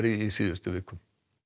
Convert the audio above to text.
í síðustu viku